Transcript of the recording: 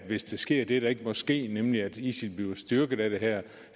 hvis der sker det der ikke må ske nemlig at isil bliver styrket af det her